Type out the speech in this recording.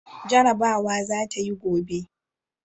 Jarabawa za ta yi gobe!